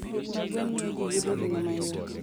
Pith mag gwen miyo ji yudo ring'o mayot.